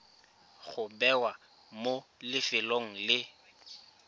go bewa mo lefelong le